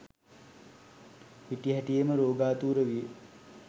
හිටි හැටියේම රෝගාතුර විය.